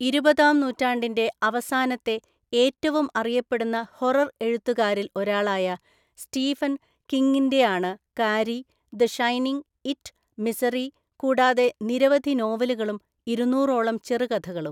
ഇരുപതാം നൂറ്റാണ്ടിന്‍റെ അവസാനത്തെ ഏറ്റവും അറിയപ്പെടുന്ന ഹൊറർ എഴുത്തുകാരിൽ ഒരാളായ സ്റ്റീഫൻ കിംഗിന്‍റെയാണ് Carrie, the Shining, It, Misery, കൂടാതെ നിരവധി നോവലുകളും ഇരുനൂറോളം ചെറുകഥകളും.